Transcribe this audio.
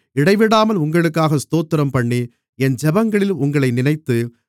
இடைவிடாமல் உங்களுக்காக ஸ்தோத்திரம்பண்ணி என் ஜெபங்களில் உங்களை நினைத்து